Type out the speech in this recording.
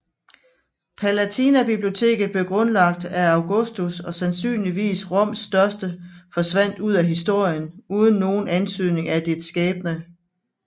Palatinabiblioteket grundlagt af Augustus og sandsynligvis Roms største forsvandt ud af historien uden nogen antydning af dets skæbne